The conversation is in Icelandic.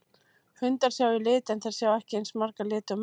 Hundar sjá í lit en þeir sjá ekki eins marga liti og menn.